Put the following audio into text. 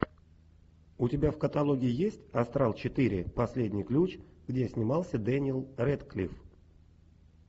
у тебя в каталоге есть астрал четыре последний ключ где снимался дэниел рэдклифф